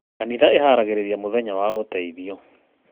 Kanitha ĩharagĩrĩria mũthenya wa ũteithio.